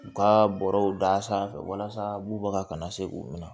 U ka bɔrɔw da sanfɛ walasa bubaga kana se k'u minɛ